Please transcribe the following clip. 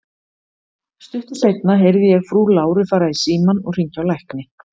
Stuttu seinna heyrði ég frú Láru fara í símann og hringja á lækni.